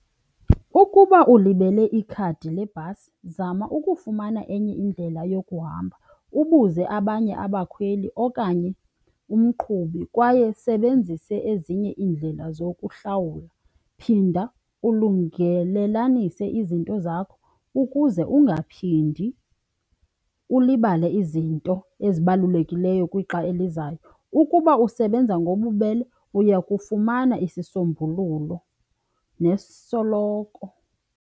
Ukuba ulibele ikhadi lebhasi zama ukufumana enye indlela yokuhamba, ubuze abanye abakhweli okanye umqhubi kwaye usebenzise ezinye iindlela zokuhlawula. Phinda ulungelelanise izinto zakho ukuze ungaphindi ulibale izinto ezibalulekileyo kwixa elizayo. Ukuba usebenza ngobubele uya kufumana isisombululo nosoloko.